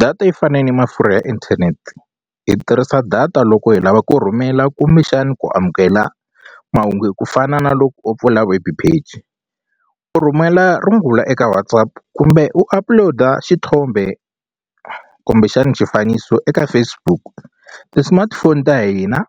Data yi fane ni mafurha ya inthanete hi tirhisa data loko hi lava ku rhumela kumbexani ku amukela mahungu hi ku fana na loko u pfula web page u rhumela rungula eka WhatsApp kumbe u upload-a xithombe kumbexana xifaniso eka Facebook ti-smartphone ta hina